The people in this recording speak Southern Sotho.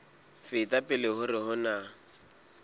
feta pele hore ho na